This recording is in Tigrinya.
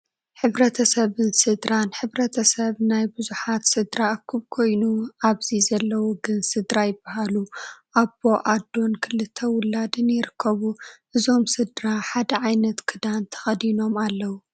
ሕ/ሰብን ስድራን፡- ሕ/ሰብ ናይ ብዙሓት ስድራ እኩብ ኮይኑ ኣብዚ ዘለው ግን ስድራ ይባሃሉ፡፡ ኣቦ፣ ኣዶን ክልተ ውላድን ይርከቡ፡፡ እዞም ስድራ ሓደ ዓ/ት ክዳን ተኽዲኖም ኣለው፡፡